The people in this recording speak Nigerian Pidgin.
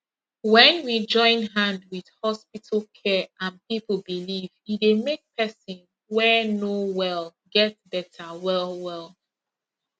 when we join hand with hospital care and people belief e dey make person wey no wel get better wellwell